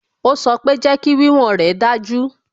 Ó sọ pé "Jẹ́kí wíwọ̀n rè dájú"